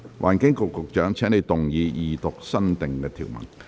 環境局局長，請動議二讀新訂條文。